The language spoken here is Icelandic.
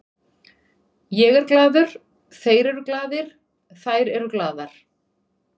Ég er glaður, þeir eru glaðir, þær eru glaðar.